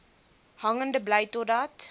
hangende bly totdat